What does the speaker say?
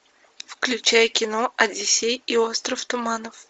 включай кино одиссей и остров туманов